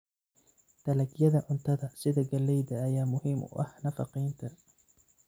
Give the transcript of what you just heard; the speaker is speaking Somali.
Dalagyada cuntada sida galleyda ayaa muhiim u ah nafaqeynta.